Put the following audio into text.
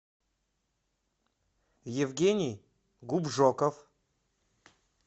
евгений губжоков